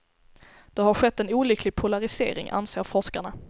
Det har skett en olycklig polarisering, anser forskarna.